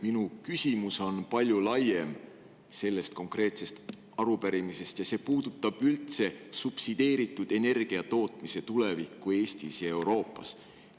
Minu küsimus on palju laiem sellest konkreetsest arupärimisest ja see puudutab üldse subsideeritud energiatootmise tulevikku Eestis ja Euroopas.